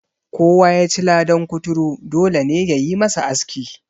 Kowa ya ci ladan kuturu, dole ne ya yi masa aski.